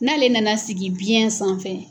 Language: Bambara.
N'ale nana sigi biyɛn sanfɛ